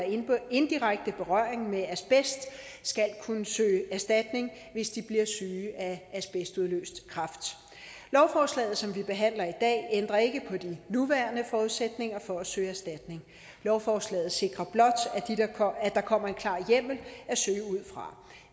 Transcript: indirekte berøring med asbest skal kunne søge erstatning hvis de bliver syge af asbestudløst kræft lovforslaget som vi behandler i dag ændrer ikke på de nuværende forudsætninger for at søge erstatning lovforslaget sikrer blot at der kommer en klar hjemmel at søge ud fra